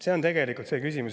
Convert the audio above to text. See on tegelikult see küsimus.